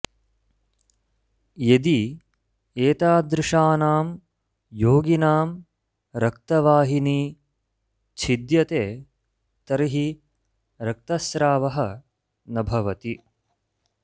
यदि एतादृशानां योगिनां रक्तवाहिनी छिद्यते तर्हि रक्तस्रावः न भवति